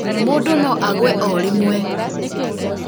mũndũ no agũe o rĩmwe